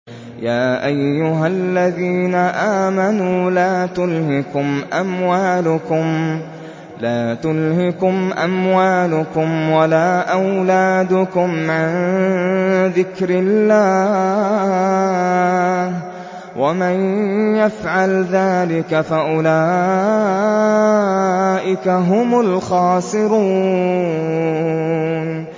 يَا أَيُّهَا الَّذِينَ آمَنُوا لَا تُلْهِكُمْ أَمْوَالُكُمْ وَلَا أَوْلَادُكُمْ عَن ذِكْرِ اللَّهِ ۚ وَمَن يَفْعَلْ ذَٰلِكَ فَأُولَٰئِكَ هُمُ الْخَاسِرُونَ